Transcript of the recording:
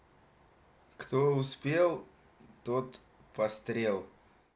кто успел тот пострел